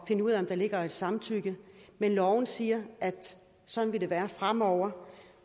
finde ud af om der ligger et samtykke men loven siger at sådan vil det være fremover